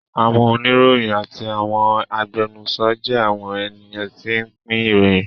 Àwọn oníròyìn àti àwọn agbẹnusọ jẹ́ àwọn ènìyàn tí ń pín ìròyìn